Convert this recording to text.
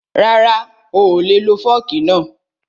Rara, oolè lo fọ́ọ̀kì náà